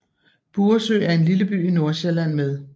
Buresø er en lille by i Nordsjælland med